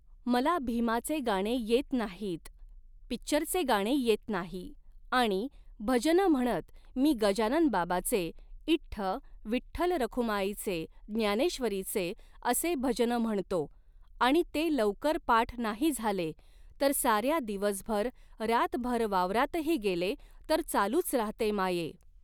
मला भिमाचे गाणे येत नाहीत, पिक्चरचे गाणे येत नाही आणि भजनं म्हणत मी गजानन बाबाचे इठ्ठ विठ्ठल रखुमाईचे ज्ञानेश्वरीचे असे भजनं म्हणतो, आणि ते लवकर पाठ नाही झाले, तर साऱ्या दिवसभर रातभर वावरातही गेले तर चालूच राहते माये